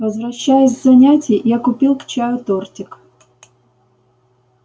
возвращаясь с занятий я купил к чаю тортик